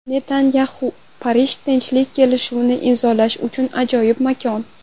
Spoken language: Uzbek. Netanyaxu: Parij tinchlik kelishuvini imzolash uchun ajoyib makon.